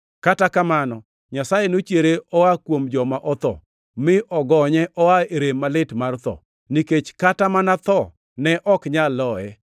Kata kamano, Nyasaye nochiere oa kuom joma otho, mi ogonye oa e rem malit mar tho, nikech kata mana tho ne ok nyal loye.